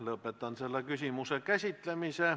Lõpetan selle küsimuse käsitlemise.